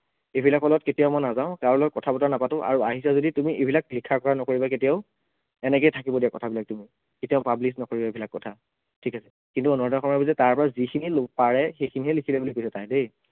এইবিলাক hall ত কেতিয়াও মই নাযাও, কাৰো লগত মই কথা বতৰা নাপাতো আৰু আহিছা যদি তুমি এইবিলাক লিখা কৰা নকৰিবা কেতিয়াও, এনেকেই থাকিব দিয়া কথাবিলাক তুমি, কেতিয়াও public নকৰিবা এইবিলাক কথা, ঠিক আছে, কিন্তু অনুৰাধা শৰ্মা পূজাৰীয়ে তাৰপৰা যিখিনি ল পাৰে সেইখিনিহে লিখিলে বুলি কৈছে তাই দেই